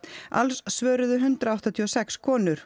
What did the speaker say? alls svöruðu hundrað áttatíu og sex konur